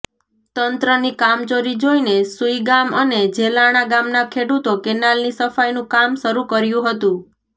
તંત્રની કામચોરી જોઇને સુઇગામ અને જેલાણા ગામના ખેડૂતો કેનાલની સફાઇનું કામ શરૂ કર્યું હતું